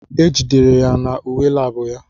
E jidere ya na uwe lab ya.